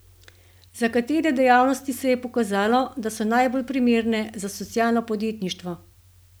Za katere dejavnosti se je pokazalo, da so najbolj primerne za socialno podjetništvo?